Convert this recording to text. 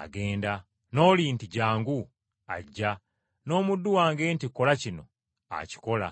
agenda, n’omulala nti, ‘Jjangu,’ ajja; n’omuddu wange nti, ‘Kola kino,’ akikola.”